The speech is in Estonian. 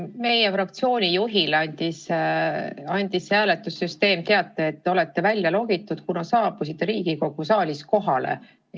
Meie fraktsiooni juhile andis hääletussüsteem teate, et te olete välja logitud, kuna saabusite Riigikogu saali kohale.